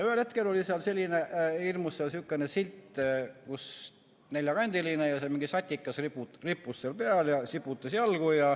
Ühel hetkel oli seal selline hirmus sihukene silt, kus rippus mingi neljakandiline satikas, kes siputas jalgu.